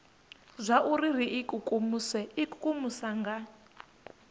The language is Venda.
zwauri ri ikukumuse ikukumusa nga